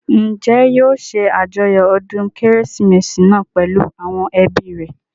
Njẹ́ yóò ṣe àjọyọ̀ ọdún kérésìmesì náà pèlú àwọn ẹbí rẹ̀?